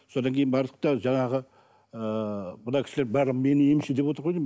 содан кейін бардық та жаңағы ыыы мына кісілер барлығы мені емші деп отыр ғой деймін